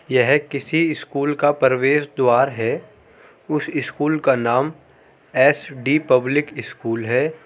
यह किसी स्कूल का परवेश द्वार है उस स्कूल का नाम एसडी पब्लिक स्कूल है ।